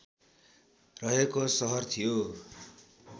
रहेको सहर थियो